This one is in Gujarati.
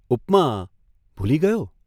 ' ઉપમા, ભૂલી ગયો?